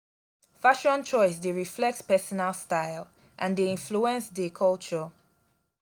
fashion choice dey reflect personal style and dey influence dey culture.